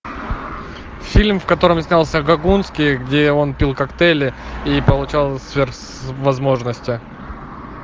фильм в котором снялся гогунский где он пил коктейли и получал сверхвозможности